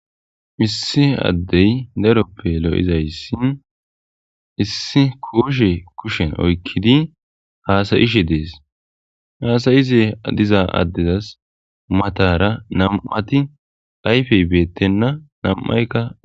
Issi adeyi daroppe loyizayisi issi koshe kusheni oyikidi hasayishe desi hasayize diza adeza matara nami'ati ayifeyi betena namiphayika